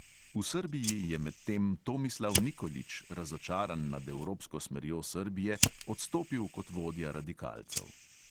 V srbiji je medtem tomislav nikolić, razočaran nad evropsko smerjo srbije, odstopil kot vodja radikalcev.